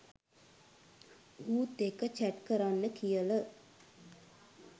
ඌත් එක්ක චැට් කරන්න කියල